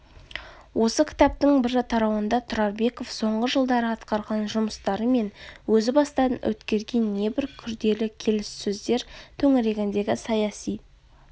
осы кітаптың бір тарауында тұрарбеков соңғы жылдары атқарған жұмыстары мен өзі бастан өткерген небір күрделі келіссөздер төңірегіндегі саяси